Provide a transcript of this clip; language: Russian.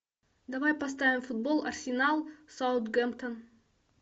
давай поставим футбол арсенал саутгемптон